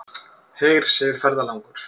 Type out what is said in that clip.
Heyr, segir ferðalangur.